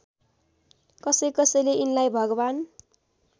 कसैकसैले यिनलाई भगवान्